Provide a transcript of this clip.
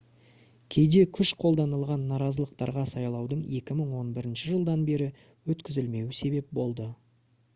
кейде күш қолданылған наразылықтарға сайлаудың 2011 жылдан бері өткізілмеуі себеп болды